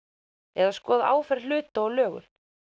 eða skoða áferð hluta og lögun